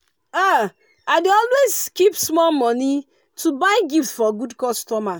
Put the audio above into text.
um i dey always keep small money to buy gift for good customer.